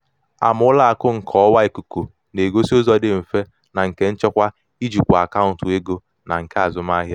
ama ụlọ akụ nke ọwa ikuku na-egosị ụzọ dị mfe na nke nchekwa ijikwa akaụntụ ego na nke azụmahịa.